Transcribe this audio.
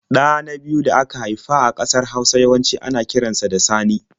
Ɗa na biyu da aka haifa a ƙasar Hausa yawanci ana kiran sa da Sani.